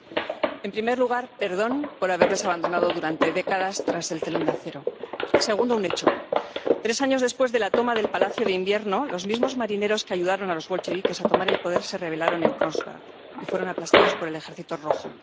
Señor presidente. En primer lugar, perdón, por haberles abandonado durante décadas tras el telón de acero. Segundo, un hecho tres años después de la toma del Palacio de Invierno los mismos marineros que ayudaron a los bolcheviques a tomar el poder se rebelaron en Kronstadt y fueron aplastados por el Ejército Rojo.